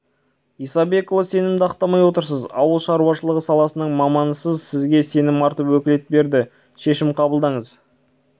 исабекұлы сенімді ақтамай отырсыз ауыл шаруашылығы саласының маманысыз сізге сенім артып өкілет берді шешім қабылдаңыз